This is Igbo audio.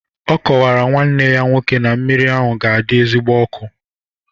Ọ kọwara nwanne ya nwoke na mmiri ahụ ga-adị ezigbo ọkụ